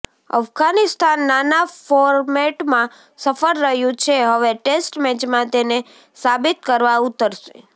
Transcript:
અફઘાનિસ્તાન નાના ફોર્મેટમાં સફળ રહ્યું છે હવે ટેસ્ટ મેચમાં તેને સાબિત કરવા ઉતરસે